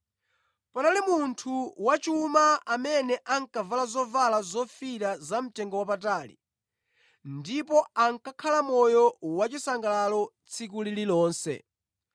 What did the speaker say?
“Panali munthu wachuma amene ankavala zovala zofiirira za mtengowapatali ndipo ankakhala moyo wachisangalalo tsiku lililonse.